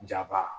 Jaba